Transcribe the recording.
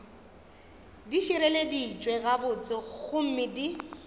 di šireleditšwe gabotse gomme di